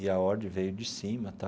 E a ordem veio de cima tá.